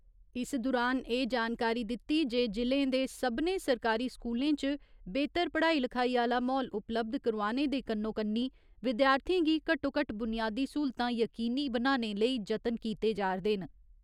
इस दुरान एह् जानकारी दित्ती जे जि'लें दे सभनें सरकारी स्कूलें च बेह्‌तर पढ़ाई लखाई आह्‌ला म्हौल उपलब्ध करोआने दे कन्नो कन्नी विद्यार्थियें गी घट्टो घट्ट बुनियादी स्हूलतां यकीनी बनाने लेई जतन कीते जारदे न।